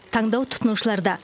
таңдау тұтынушыларда